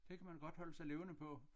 Det kan man godt holde sig levende på